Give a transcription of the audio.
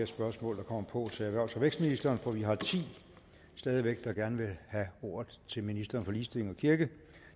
spørgsmål på til erhvervs og vækstministeren for vi har stadig væk ti der gerne vil have ordet til ministeren for ligestilling og kirke